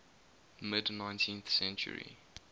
mid nineteenth century